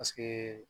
Paseke